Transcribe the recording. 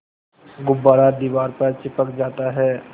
गुब्बारा दीवार पर चिपक जाता है